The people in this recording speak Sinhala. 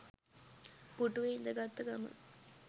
පුටුවේ ඉදගත්ත ගමන්